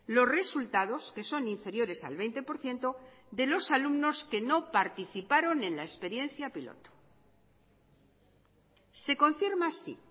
los resultados que son inferiores al veinte por ciento de los alumnos que no participaron en la experiencia piloto se confirma así